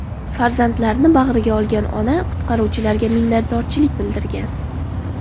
Farzandlarini bag‘riga olgan ona qutqaruvchilarga minnatdorchilik bildirgan.